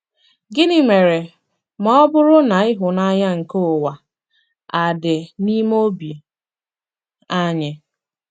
Gịnị mere ma ọ bụrụ na ịhụnanya nke ụwa a dị n'ime obi anyị?